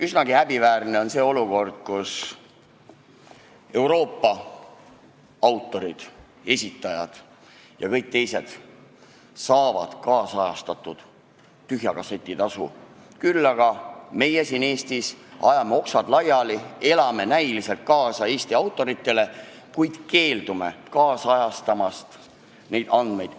Üsnagi häbiväärne on see olukord, kus Euroopa autorid, esitajad ja kõik teised saavad nüüdisajastatud tühja kasseti tasu, küll aga meie siin Eestis ajame oksad laiali, elame näiliselt kaasa Eesti autoritele, kuid keeldume neid andmeid nüüdisajastamast.